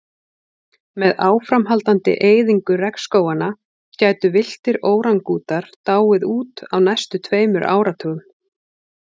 Með áframhaldandi eyðingu regnskóganna gætu villtir órangútanar dáið út á næstu tveimur áratugum.